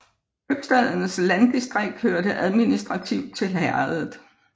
Købstadens landdistrikt hørte administrativt til herredet